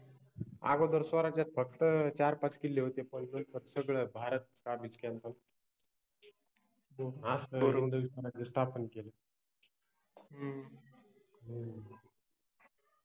अगोदर स्वराज्यात फक्त चार पाच किल्ले होते पन आता सगळ भारत काबिज केलता स्थापन केले.